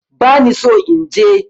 Bani so inje